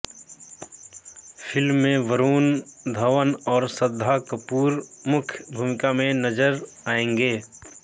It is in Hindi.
फिल्म में वरूण धवन और श्रद्धा कपूर मुख्य भूमिका में नज़र आएंगे